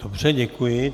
Dobře, děkuji.